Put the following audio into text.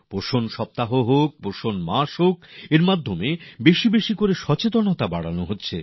পুষ্টি সপ্তাহ হোক পুষ্টির মাস হোক বেশি বেশি করে সচেতনতা তৈরির করা হচ্ছে